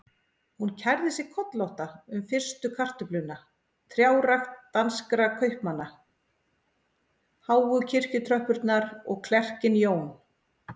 Hún kærði sig kollótta um fyrstu kartöfluna, trjárækt danskra kaupmanna, háu kirkjutröppurnar og klerkinn Jón